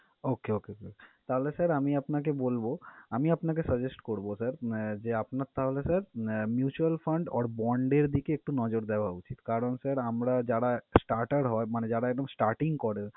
Okay okay তাহলে sir আমি আপনাকে বলব আমি আপনাকে suggest করব sir যে, আপনার তাহলে sir mutual fund or bond এর দিকে একটু নজর দেওয়া উচিত। কারণ sir আমরা যারা starter হয় মানে যারা একদম starting করে